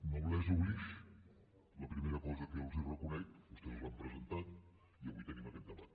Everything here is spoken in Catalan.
noblesse oblige la primera cosa que jo els reconec vostès l’han presentat i avui tenim aquest debat